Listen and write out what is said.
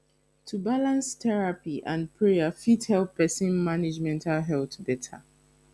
to balance therapy and prayer fit help pesin manage mental health beta